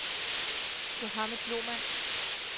Muhammad Lohmann